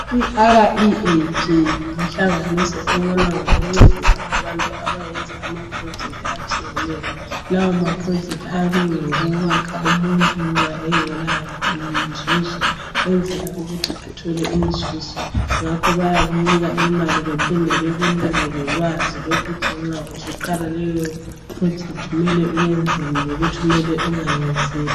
I REAP yinhlanganiso ebona ngokuncedisa abantu abenza ama phulojekithi atshiyeneyo, lawo maphulojekithi ayabe engawokwakha umuntu nxa engela nzuzo ukwenzela ukuthi athole inzuzo ngakho bayakunika imali baphinde bakunike lolwazi lokuthi nxa usuqala leyo phulojekithi kumele wenzeni lokuthi ungenzini.